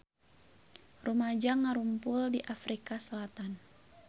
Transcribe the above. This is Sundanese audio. Rumaja ngarumpul di Afrika Selatan